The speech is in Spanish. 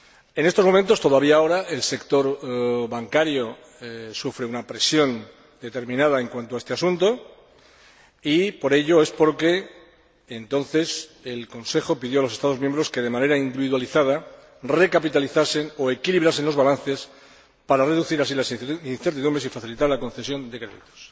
En estos momentos, todavía ahora el sector bancario sufre una presión determinada en cuanto a este asunto y, por ello, el Consejo pidió a los Estados miembros que, de manera individualizada, recapitalizasen o equilibrasen los balances, para reducir así las incertidumbres y facilitar la concesión de créditos.